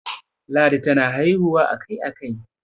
ladi tana haihuwa a Kai a Kai